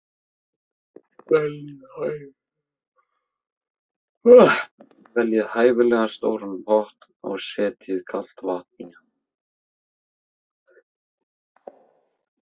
Veljið hæfilega stóran pott og setjið kalt vatn í hann.